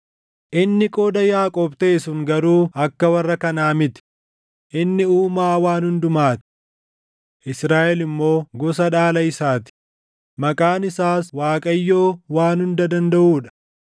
Inni qooda Yaaqoob taʼe sun garuu akka warra kanaa miti; inni uumaa waan hundumaa ti; Israaʼel immoo gosa dhaala isaa ti; maqaan isaas Waaqayyoo Waan Hunda Dandaʼuu dha.